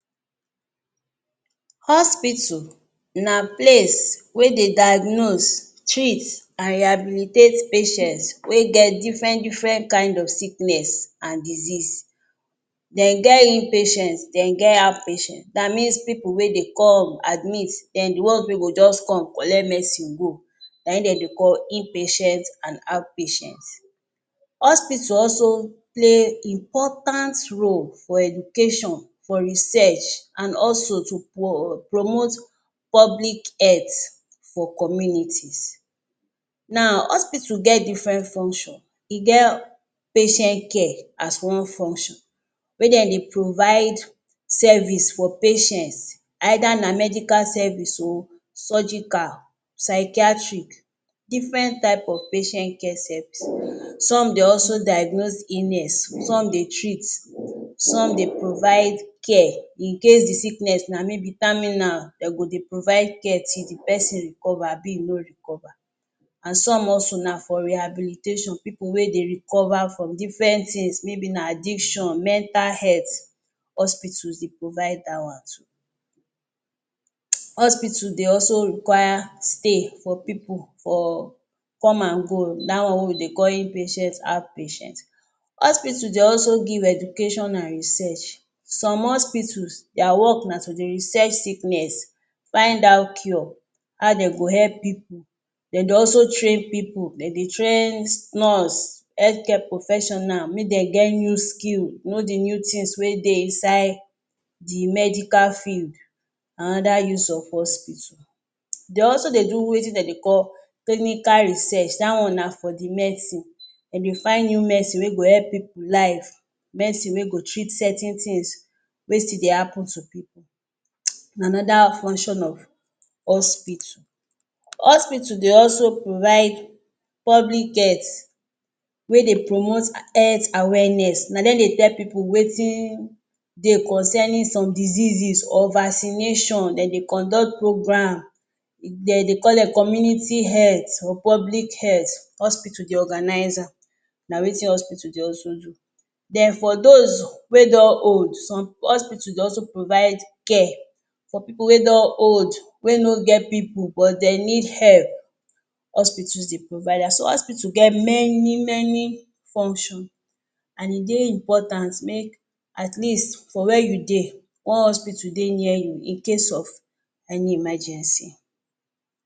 HE00052 Hospital na place wey dey diagnose, treat and rehabilitate patients wey get different-different kind of sickness and disease. Den get in-patients, den get out-patient, that means pipu wey dey come admit then the ones wey go just come collect medicine go, na im dem dey call in-patient and out-patients. Hospital also play important role for education, for research and also to promote public health for communities. Now hospital get different function, e get patient care as one function wey den dey provide service for patients either na medical service oo, surgical, psychiatric, different type of patient care service. Some dem also diagnose illness, some dey treat, some dey provide care in case the sickness na maybe terminal, den go dey provide care till the person recover abi e no recover, and some also na for rehabilitation, people wey dey recover form different things maybe na addiction, mental health, hospitals dey provide that one too. Hospital dey also require stay for pipu for come and go that one wey we dey call in-patient and out-patient. Hospital dey also give education and research, some hospitals their work na to dey research sickness, find out cure how den go help pipu, den dey also train pipu, den dey train nurse, health care professional, make dem get new skill, know the new things wey dey inside the medical field another use of hospital. They also dey do wetin den dey call technical research, da one na for the medicine, den dey find new medicine wey go help pipu life, medicine wey go treat certain things wey still dey happen to pipu na another function of hospital. Hospital dey also provide public health, wey dey promote health awareness, na dem dey tell pipu wetin dey concerning some diseases or vaccination, den dey conduct program, den dey call them community health or public health, hospital dey organize am, na wetin hospital dey also do. Then for those wey don old, some hospital dey also provide care for pipu wey don old, wey no get pipu but dem need help, hospitals dey provide am. So hospital get many many function and e dey importance make atleast for where you dey, one hospital dey near you in case of any emergency.